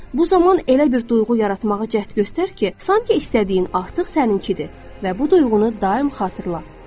Bu zaman elə bir duyğu yaratmağa cəhd göstər ki, sanki istədiyin artıq səninkidir və bu duyğunu daim xatırla.